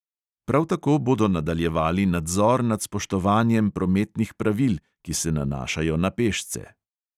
Prav tako bodo nadaljevali nadzor nad spoštovanjem prometnih pravil, ki se nanašajo na pešce.